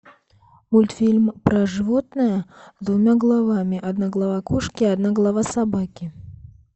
мультфильм про животное с двумя головами одна голова кошки одна голова собаки